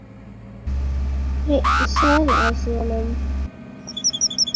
Hreinn söðlaði síðan um.